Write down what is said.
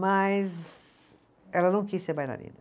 Mas ela não quis ser bailarina.